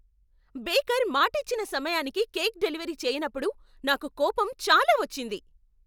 Baker మాటిచ్చిన సమయానికి cake delivery చేయనప్పుడు నాకు కోపం చాలా వచ్చింది.